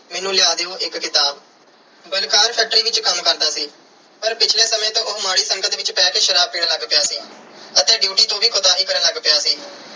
ਮੈਨੂੰ ਲਿਆ ਦਿਓ ਇੱਕ ਕਿਤਾਬ। ਬਲਕਾਰ factory ਵਿੱਚ ਕੰਮ ਕਰਦਾ ਸੀ ਪਰ ਪਿਛਲੇ ਸਮੇਂ ਤੋਂ ਉਹ ਮਾੜੀ ਸੰਗਤ ਵਿੱਚ ਪੈ ਕੇ ਸ਼ਰਾਬ ਪੀਣ ਲੱਗ ਪਿਆ ਸੀ ਅਤੇ ਡਿਊਟੀ ਤੋਂ ਵੀ ਕੁਤਾਹੀ ਕਰਨ ਲੱਗ ਪਿਆ ਸੀ।